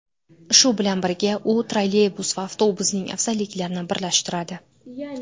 Shu bilan birga, u trolleybus va avtobusning afzalliklarini birlashtiradi.